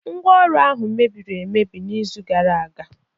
Ngwá Ọrụ ahụ mebiri emebi n'izu gara aga.